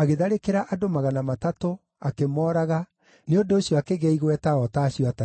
agĩtharĩkĩra andũ magana matatũ, akĩmooraga, nĩ ũndũ ũcio akĩgĩa igweta o ta acio Atatũ.